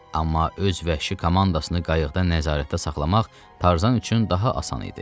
Amma öz vəhşi komandasını qayıqda nəzarətdə saxlamaq Tarzan üçün daha asan idi.